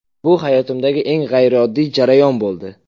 Bu hayotimdagi eng g‘ayrioddiy jarayon bo‘ldi.